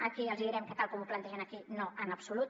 aquí els hi direm que tal com ho plantegen aquí no en absolut